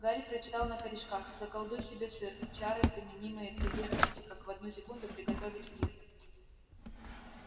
гарри прочитал на корешках заколдуй себе сыр чары применяемые при выпечке как в одну секунду приготовить пир